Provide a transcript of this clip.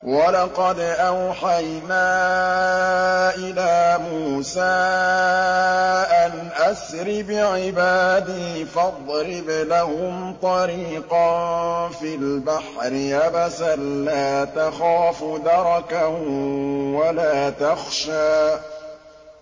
وَلَقَدْ أَوْحَيْنَا إِلَىٰ مُوسَىٰ أَنْ أَسْرِ بِعِبَادِي فَاضْرِبْ لَهُمْ طَرِيقًا فِي الْبَحْرِ يَبَسًا لَّا تَخَافُ دَرَكًا وَلَا تَخْشَىٰ